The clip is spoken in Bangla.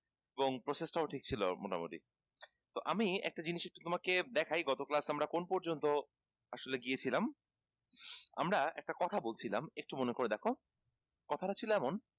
এবং process টাও ঠিক ছিল মোটামোটি তো আমি একটা জিনিস তোমাকে দেখাই গত class এ আমরা কোন পর্যন্ত আসলে গিয়েছিলাম আমরা একটা কথা বলছিলাম একটু মনে করে দেখো কথাটা ছিল এমন